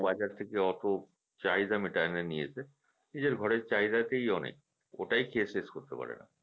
বাজার থেকে অতো চাহিদা মিটায় নিয়েছে নিজের ঘরের চাহিদা তেই অনেক ওটাই খেয়ে শেষ করতে পারে না